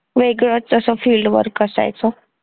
वेगळंच तसं field work असायचं